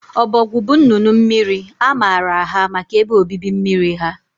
Ducks are waterfowl, They are known for their aquatic habitats